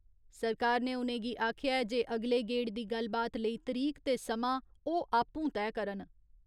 सरकार ने उ'नेंगी आखेआ ऐ जे अगले गेड़ दी गल्लबात लेई तरीक ते समां ओह् आपूं तय करन।